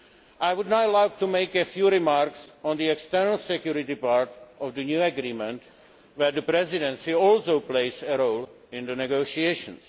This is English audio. I would now like to make a few remarks on the external security part of the new agreement, where the Presidency also plays a role in the negotiations.